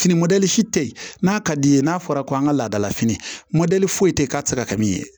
Fini tɛ ye n'a ka d'i ye n'a fɔra ko an ka laadalafini foyi tɛ yen k'a tɛ se ka kɛ min ye